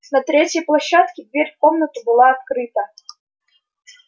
на третьей площадке дверь в комнату была открыта